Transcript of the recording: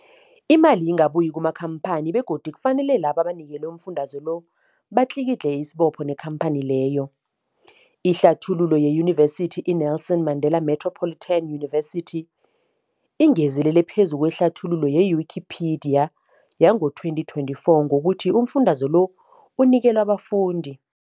Imali ingabuyi kumakhamphani begodu kufanele labo abanikelwa umfundaze lo batlikitliki isibopho neenkhamphani leyo. Ihlathululo yeYunivesithi i-Nelson Mandela Metropolitan University, ingezelele phezu kwehlathululo ye-Wikipedia, yango-2024, ngokuthi umfundaze lo unikelwa abafundi